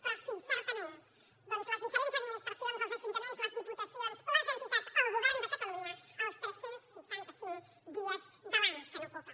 però sí certament les diferents administracions els ajuntaments les diputacions les entitats el govern de catalunya els tres cents i seixanta cinc dies de l’any se n’ocupen